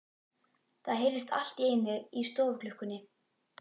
Það heyrðist allt í einu í stofuklukkunni.